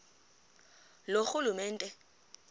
loorhulumente